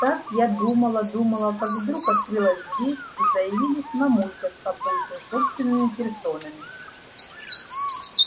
так я думала думала как вдруг открылась дверь и заявились мамулька с папулькой собственными персонами